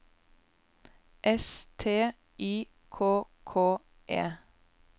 S T Y K K E